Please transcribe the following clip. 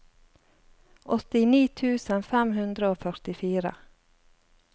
åttini tusen fem hundre og førtifire